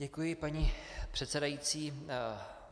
Děkuji, paní předsedající.